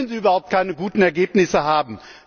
Da können Sie überhaupt keine guten Ergebnisse haben.